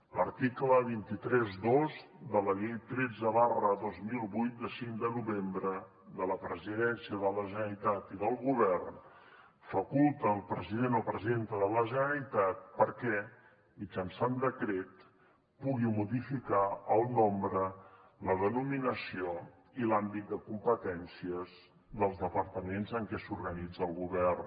l’article dos cents i trenta dos de la llei tretze dos mil vuit de cinc de novembre de la presidència de la generalitat i del govern faculta el president o presidenta de la generalitat perquè mitjançant decret pugui modificar el nombre la denominació i l’àmbit de competències dels departaments en què s’organitza el govern